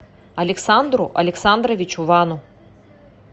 александру александровичу вану